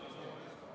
Aitäh, hea kolleeg!